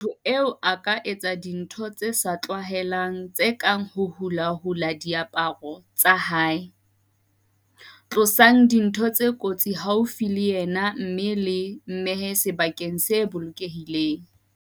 Motho eo a ka etsa dintho tse sa tlwaelehang tse kang ho hulahula diaparo tsa hae. "Tlosang dintho tse kotsi haufi le yena mme le mmehe sebakeng se bolokehileng."